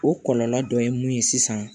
O kɔlɔlɔ dɔ ye mun ye sisan